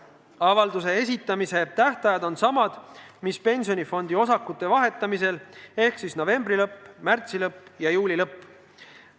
Avalduse esitamise tähtajad on samad, mis pensionifondi osakute vahetamisel, ehk novembri lõpp, märtsi lõpp ja juuli lõpp.